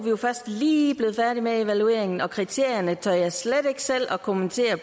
jo først lige blevet færdige med evalueringen og kriterierne tør jeg slet ikke selv at kommentere